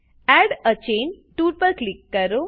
add a chain tool પર click કરો